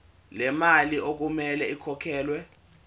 lemali okumele ikhokhelwe